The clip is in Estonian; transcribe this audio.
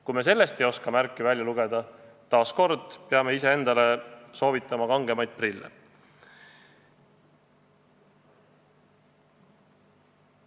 Kui me sellest ei oska märke välja lugeda, siis peame taas soovitama ise endale kangemaid prille.